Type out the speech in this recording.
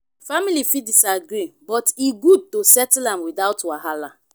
family fit disagree but e good to settle am without wahala.